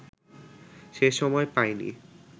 সে সময় পায়নি